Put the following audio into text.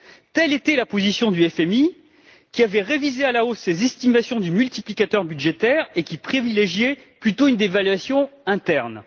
Telle était la position du FMI, qui avait révisé à la hausse ses estimations du multiplicateur budgétaire et qui privilégiait plutôt une dévaluation interne.